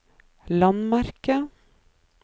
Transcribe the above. landemerke